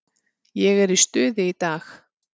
Ég er í stuði í dag.